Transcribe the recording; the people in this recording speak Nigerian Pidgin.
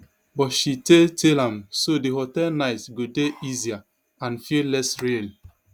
but she tale tale am so di hotel nights go dey easier and feel less real